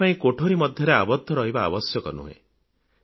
ଏଥିପାଇଁ କୋଠରୀ ମଧ୍ୟରେ ଆବଦ୍ଧ ରହିବା ଆବଶ୍ୟକ ନୁହେଁ